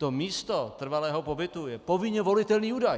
To místo trvalého pobytu je povinně volitelný údaj.